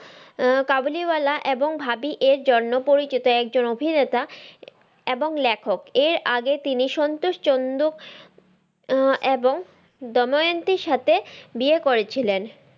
আহ কাবুলিওয়ালা এবং ভাবি এরজন্য পরিচিত একজন অভিনেতা এবং লেখক এর আগে তিনি সন্তোষ চন্দ আহ এবং দময়ন্তীর সাথে বিয়ে করেছিলেন।